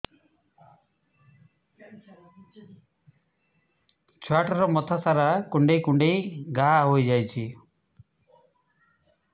ଛୁଆଟାର ମଥା ସାରା କୁଂଡେଇ କୁଂଡେଇ ଘାଆ ହୋଇ ଯାଇଛି